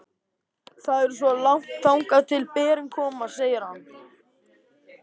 Það er svo langt þangað til berin koma, segir hann.